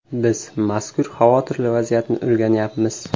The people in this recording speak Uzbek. Biz mazkur xavotirli vaziyatni o‘rganyapmiz.